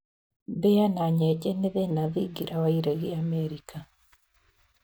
Mbĩa na nyenje nĩ thĩna thingira wa iregi Amerika.